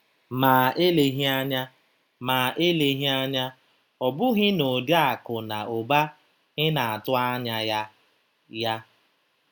Ma eleghị anya, ma eleghị anya ọ bụghị n'ụdị akụ̀ na ụba ị na-atụ anya ya. ya.